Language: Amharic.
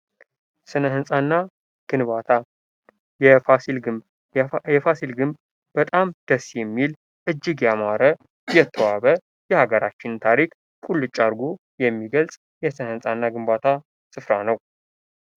ስነ ህንጻና ግንባታ ፦የፋሲል ግንብ ፦የፋሲል ግንብ በጣም ደስ የሚል፣ እጅግ የሚያምር፣ የተዋበ የሀገራችን ታሪክ ቁልጭ አድርጎ የሚገልጽ የስነ ህንጻና ግንባታ ስፍራ ነው።